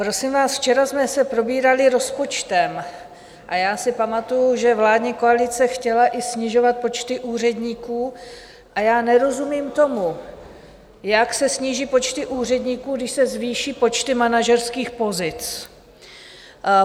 Prosím vás, včera jsme se probírali rozpočtem a já si pamatuji, že vládní koalice chtěla i snižovat počty úředníků, a já nerozumím tomu, jak se sníží počty úředníků, když se zvýší počty manažerských pozic.